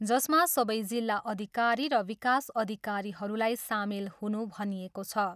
जसमा सबै जिल्ला अधिकारी र विकास अधिकारीहरूलाई सामेल हुनु भनिएको छ।